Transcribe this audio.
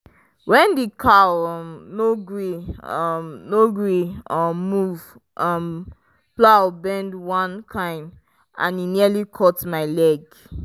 when the cow um no gree um no gree um move um plow bend one kind and e nearly cut my leg.